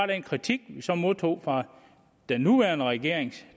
den kritik vi så modtog fra den nuværende regering og